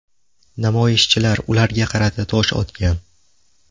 Namoyishchilar ularga qarata tosh otgan.